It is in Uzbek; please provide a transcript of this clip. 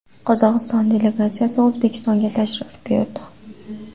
Qozog‘iston delegatsiyasi O‘zbekistonga tashrif buyurdi.